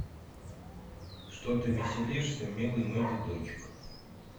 что ты веселишься милый мой дедочек